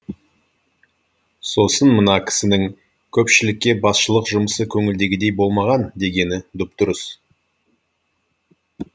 сосын мына кісінің көпшілікке басшылық жұмысы көңілдегідей болмаған дегені дұп дұрыс